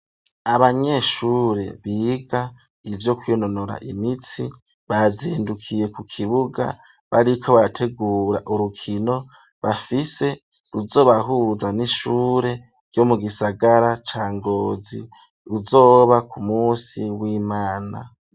Abanyeshure biga ivyo kwinonora imitsi bazindukiye ku kibuga bariko bategura urukino bafise ruzobahuza n'ishure ryo mu gisagara ca Ngozi uzoba ku munsi w'imana.